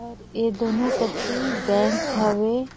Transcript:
और ए दोनों करती बैंक हवे।